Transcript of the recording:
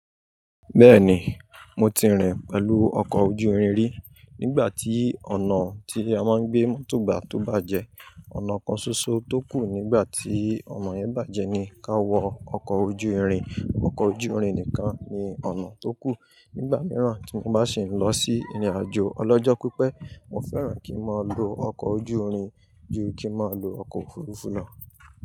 Bẹ́ẹ̀ni, mo ti rìn pẹ̀lú ọkọ̀ ojú irin rí. Nígbà tí ọ̀nà tí a máa ń gbé mọ́tò gbà tó bàjẹ́, ọ̀nà kan ṣoṣo tó kù nígbà tí ọ̀nà yẹn bàjẹ́ ni ká wọ ọkọ̀ ojú irin. Ọkọ̀ ojú irin nìkan ni ọ̀nà tó kù. Nígbà mìíràn tí mo bá sì ń lọ sí ìrìnàjò ọlọ́jọ́ pípẹ́, mo fẹ́ràn kí n máa lo ọkọ̀ ojú irin ju kí n máa lo ọkọ̀ òfurufú lọ.